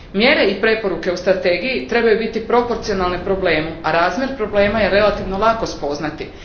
Mjere i preporuke u strategiji trebaju biti proporcionalne problemu, a razmjer problema je relativno lako spoznati.